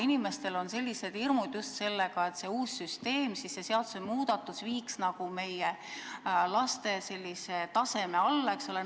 Inimestel on just hirmud, et uus süsteem ja seadusmuudatus viiks nagu meie laste taseme alla.